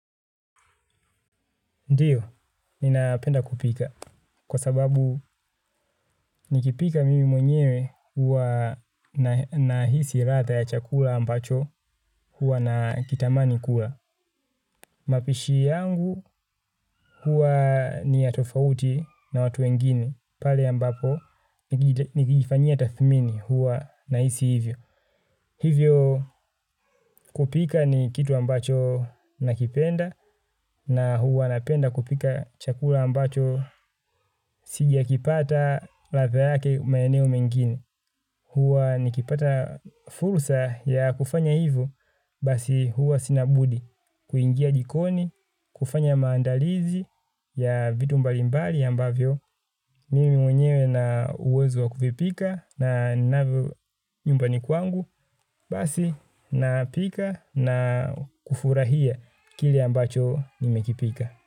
Ndiyo, ninapenda kupika kwa sababu nikipika mimi mwenyewe huwa na nahisi radha ya chakula ambacho huwa nakitamani kula. Mapishi yangu huwa ni ya tofauti na watu wengine pale ambapo nikijifanyia tathmini huwa nahisi hivyo. Hivyo kupika ni kitu ambacho nakipenda na huwa napenda kupika chakula ambacho sijakipata ladha yake maeneo mengine. Huwa nikipata fursa ya kufanya hivo basi huwa sina budi. Kuingia jikoni, kufanya maandalizi ya vitu mbalimbali ambavyo. Mimi mwenyewe na uwezo wa kuvipika na ninavo nyumbani kwangu basi napika na kufurahia kile ambacho nimekipika.